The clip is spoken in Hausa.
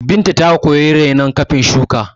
Binta ta koyi rainon iri kafin shuka